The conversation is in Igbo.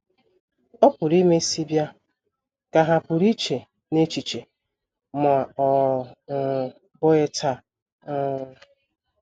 ‘ Ọ pụrụ imesị bịa, ’ ka ha pụrụ iche n’echiche, ‘ ma ọ um bụghị taa. um ’